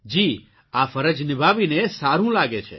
જી આ ફરજ નિભાવીને સારૂં લાગે છે